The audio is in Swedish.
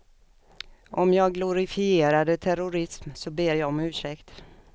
Om jag glorifierade terrorism så ber jag om ursäkt.